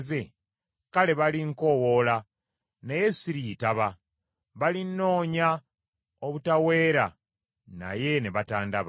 kale balinkoowoola, naye siriyitaba; balinnoonya obutaweera naye ne batandaba.